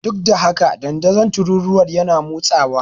Duk da haka, dandazon tururuwar yana motsawa.